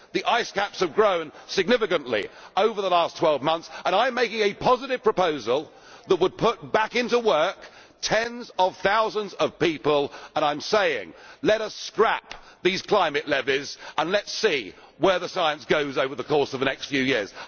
The ice caps have grown significantly over the last twelve months, and I am making a positive proposal that would put back into work tens of thousands of people, and I am saying let us scrap these climate levies and let us see where the science goes over the course of the next few years.